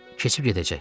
Keçib gedəcək.